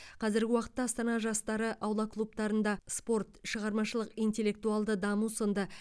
қазіргі уақытта астана жастары аула клубтарында спорт шығармашылық интеллектуалды даму сынды